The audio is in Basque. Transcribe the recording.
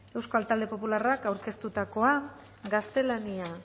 euskal talde popularrak aurkeztutakoa gaztelania